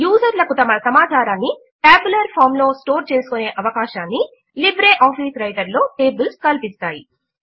యూజర్లకు తమ సమాచారమును tabular form లో స్టోర్ చేసుకునే అవకాశమును లైబ్రె ఆఫీస్ రైటర్ లో టేబుల్స్ కల్పిస్తాయి